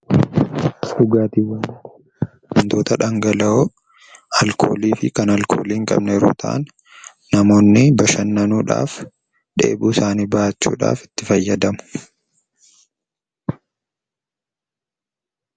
Dhugaatiiwwan: Wantoota dhangala'oo alkoolii fi alkoolii hin qabne yeroo ta'an namoonni bashannanuudhaaf, dheebuu isaanii bahachuudhaaf itti fayyadamu.